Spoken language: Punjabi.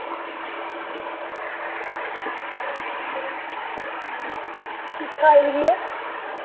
ਚੀਕਾਂ ਇਹਦੀਆਂ